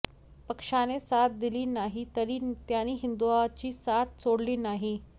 पक्षाने साथ दिली नाही तरी त्यांनी हिंदुत्वाची साथ सोडली नाही